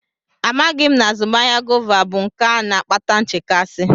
Amaghị m na azụmahịa gọva bụ nke a na-akpata nchekasị.